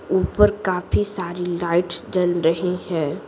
ऊपर काफी सारी लाइट्स चल रही हैं।